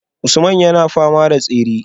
Usman yana fama da tsere